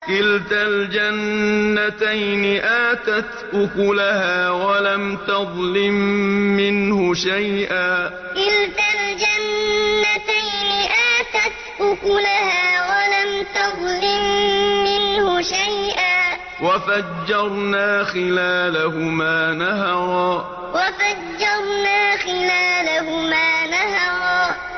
كِلْتَا الْجَنَّتَيْنِ آتَتْ أُكُلَهَا وَلَمْ تَظْلِم مِّنْهُ شَيْئًا ۚ وَفَجَّرْنَا خِلَالَهُمَا نَهَرًا كِلْتَا الْجَنَّتَيْنِ آتَتْ أُكُلَهَا وَلَمْ تَظْلِم مِّنْهُ شَيْئًا ۚ وَفَجَّرْنَا خِلَالَهُمَا نَهَرًا